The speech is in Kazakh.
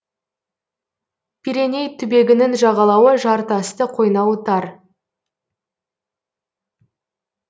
пиреней түбегінің жағалауы жартасты қойнауы тар